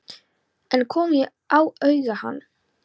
En kom ég auga á hann?